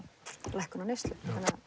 lækkun á neyslu